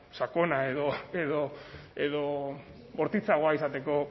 sakona edo bortitzagoa